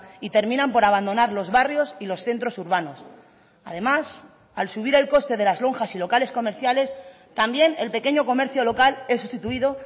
y terminan por abandonar los barrios y los centros urbanos además al subir el coste de las lonjas y locales comerciales también el pequeño comercio local es sustituido